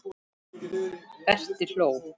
Berti hló.